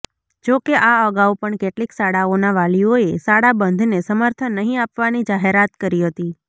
જો કે આ અગાઉ પણ કેટલીક શાળાઓના વાલીઓએ શાળાબંધને સમર્થન નહીં આપવાની જાહેરાત કરી હતી